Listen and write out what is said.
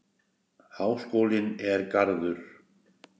Háskólinn og Garður.